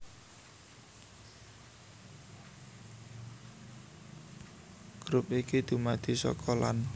Grup iki dumadi saka lan